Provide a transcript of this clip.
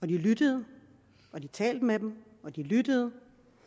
de lyttede og de talte med dem og de lyttede